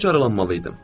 Burda dayanmalıydım.